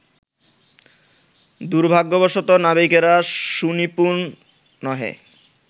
দুর্ভাগ্যবশত নাবিকেরা সুনিপুণ নহে